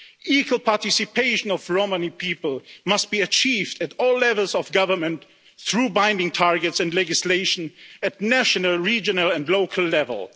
Equal participation of Romani people must be achieved at all levels of government through binding targets and legislation at national, regional and local level.